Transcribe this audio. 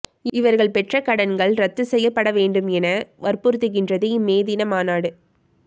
இவர்கள் பெற்ற கடன்கள் இரத்துச் செய்யப்பட வேண்டும் என வற்புறுத்துகின்றது இம் மே தின மாநாடு